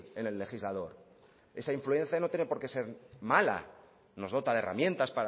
en el legislador esa influencia no tiene porqué ser mala nos dota de herramientas